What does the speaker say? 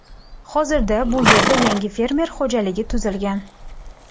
Hozir bu yerda yangi fermer xo‘jaligi tuzilgan.